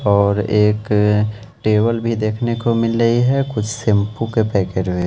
और एक टेबल भी देखने को मिल रही है कुछ शैंपू के पैकेट भी ------